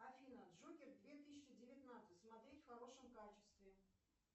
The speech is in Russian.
афина джокер две тысячи девятнадцать смотреть в хорошем качестве